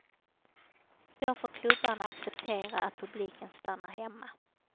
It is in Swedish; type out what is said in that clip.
Då får klubbarna acceptera att publiken stannar hemma.